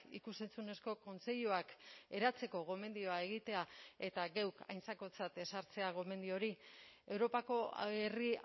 ikus entzunezko kontseiluak eratzeko gomendioa egitea eta geuk aintzakotzat ez hartzea gomendio hori europako herri